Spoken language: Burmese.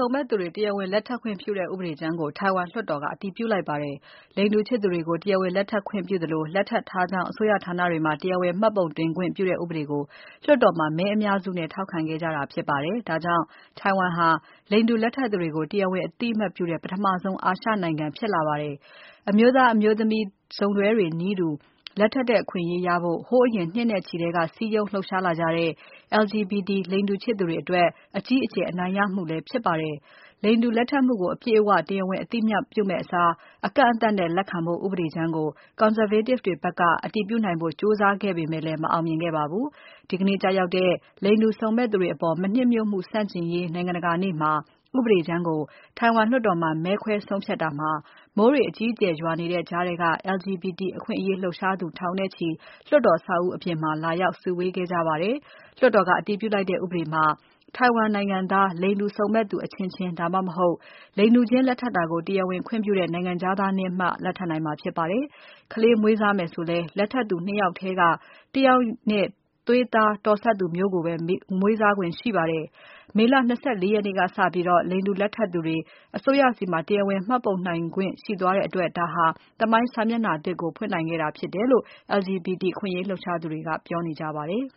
ုံမက်သူတွေ တရားဝင် လက်ထပ်ခွင့်ပြုတဲ့ ဥပဒေကြမ်းကို ထိုင်ဝမ်လွှတ်တော်က အတည်ပြုလိုက်ပါတယ်။ လိင်တူချစ်သူတွေကို တရားဝင်လက်ထပ်ခွင့်ပြုသလို လက်ထပ်ထားကြောင်း အစိုးရဌာနတွေမှာ တရားဝင်မှတ်ပုံတင်ခွင့်ပြုတဲ့ ဥပဒေကို လွှတ်တော်မှာ မဲအများစုနဲ့ ထောက်ခံခဲ့ကြတာဖြစ်ပါတယ်။ ဒါကြောင့် ထိုင်ဝမ်ဟာ လိင်တူလက်ထပ်သူတွေကို တရားဝင်အသိအမှတ်ပြုတဲ့ ပထမဆုံး အာရှနိုင်ငံ ဖြစ်လာပါတယ်။ အမျိုးသမီး၊ အမျိုးသားစုံတွဲတွေနည်းတူ လက်ထပ်တဲ့ အခွင့်အရေးရဖို့ ဟိုးအရင် နှစ်နဲ့ချီထဲက စည်းရုံးလှုပ်ရှားလာကြတဲ့ LGBT လိင်တူချစ်သူတွေအတွက် အကြီးအကျယ် အနိုင်ရမှုလည်း ဖြစ်ပါတယ်။ လိင်တူလက်ထပ်မှုကို အပြည့်အဝ တရားဝင်အသိအမှတ်ပြုမယ့်အစား အကန့်အသတ်နဲ့လက်ခံဖို့ ဥပဒေကြမ်းကို Conservative တွေဖက်က အတည်ပြုနိုင်ဖို့ ကြိုးစားခဲ့ပေမဲ့လည်း မအောင်မြင်ခဲ့ပါဘူး။ ဒီကနေ့ကျရောက်တဲ့ လိင်တူစုံမက်သူတွေအပေါ် မနှစ်မြို့မှုဆန့်ကျင်ရေး နိုင်ငံတကာနေ့မှာ ဥပဒေကြမ်းကို ထိုင်ဝမ်လွှတ်တော်မှာ မဲခွဲဆုံးဖြတ်တာမှာ မိုးတွေ အကြီးအကျယ်ရွာနေတဲ့ကြားထဲက LGBT အခွင့်အရေးလှုပ်ရှားသူ ထောင်နဲ့ချီ လွှတ်တော်အဆောက်အဦးအပြင်မှာ လာရောက် စုဝေးခဲ့ကြပါတယ်။ လွှတ်တော်က အတည်ပြုလိုက်တဲ့ဥပဒေမှာ ထိုင်ဝမ်နိုင်ငံသား လိင်တူစုံမက်သူအချင်းချင်း ဒါမှမဟုတ် လိင်တူချင်းလက်ထပ်တာကို တရားဝင်ခွင့်ပြုတဲ့ နိုင်ငံခြားသားနဲ့မှ လက်ထပ်နိုင်မှာဖြစ်ပါတယ်။ ကလေးမွေးစားမယ်ဆိုလည်း လက်ထပ်သူ ၂ ယောက်ထဲက တယောက်နဲ့ သွေးသားတော်စပ်သူမျိုးကိုပဲ မွေးစားခွင့်ရှိပါတယ်။ မေလ ၂၄ ရက်နေ့ကစပြီး လိင်တူလက်ထပ်သူတွေ အစိုးရဆီမှာ တရားဝင်မှတ်ပုံတင်နိုင်ခွင့်ရှိသွားတဲ့အတွက် ဒါဟာသမိုင်းစာမျက်နှာသစ်ကို ဖွင့်နိုင်ခဲ့တာဖြစ်တယ်လို့ LGBT အခွင့်အရေး လှုပ်ရှားသူတွေက ပြောနေကြပါတယ်